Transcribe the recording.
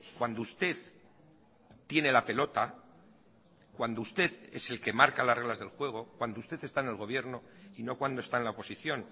cuando usted tiene la pelota cuando usted es el que marca las reglas del juego cuando usted está en el gobierno y no cuando está en la oposición